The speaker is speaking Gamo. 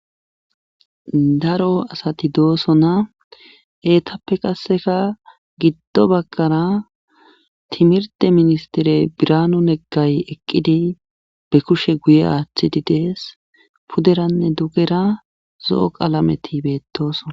daro asati doosona eetape qassika giddo baggara timirte ministere biraanu nagay eqqidi be kushe guye aatidi dees puderanne dugera zo7o qalameti beettoosona.